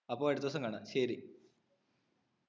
അപ്പൊ അടുത്ത ദിവസം കാണാം ശരി